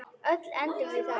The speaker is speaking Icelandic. Öll endum við þarna.